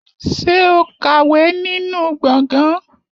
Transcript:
Ṣé o ka inú gbọ̀ngàn?